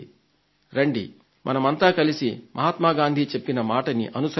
రండి మనమంతా కలసి మహాత్మ గాంధీ చెప్పిన మాటని అనుసరిద్దాం